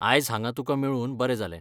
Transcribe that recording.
आयज हांगा तुका मेळून बरें जालें.